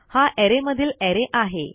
हा अरे मधील अरे आहे